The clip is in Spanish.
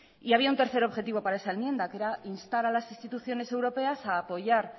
y había un tercer objetivo para esa enmienda que era instar a las instituciones europeas a apoyar